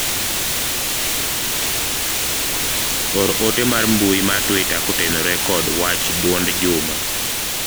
or ote mar mbui mar twita kotenore kod wach duond Juma